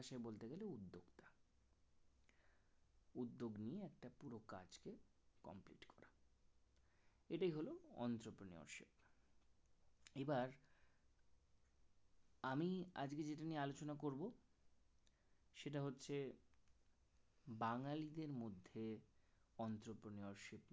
এটাই হলো অঞ্চত নেওয়া এবার আমি আজকে যেটা নিয়ে আলোচনা করব সেটা হচ্ছে বাঙ্গালীদের মধ্যে অঞ্চত নেওয়া